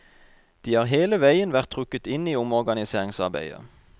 De har hele veien vært trukket inn i omorganiseringsarbeidet.